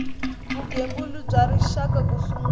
vugembuli bya rixaka ku sungula